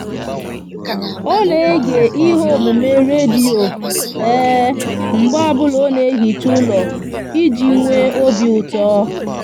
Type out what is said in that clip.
o n'ege ihe omume radio mgbe obula o n'ehicha ulo iji nwe obiuto